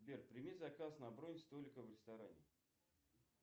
сбер прими заказ на бронь столика в ресторане